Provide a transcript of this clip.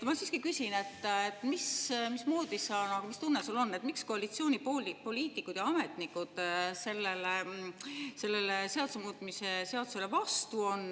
Ma siiski küsin, et mis tunne sul on, miks koalitsioonipoliitikud ja ametnikud selle seaduse muutmise seadusele vastu on.